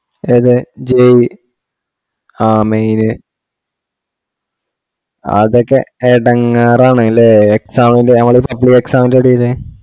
ഏത് jee അ main അതൊക്കെ എടങ്ങാറാണുലെ നമ്മളെ exam ൻറെ നമ്മളെ supply exam ൻറെ എടേല്